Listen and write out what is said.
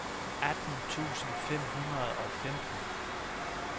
atten tusind fem hundrede og femten